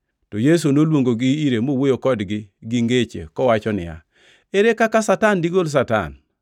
To Yesu noluongogi ire mowuoyo kodgi gi ngeche kowacho niya, “Ere kaka Satan digol Satan?